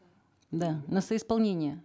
да на соисполнение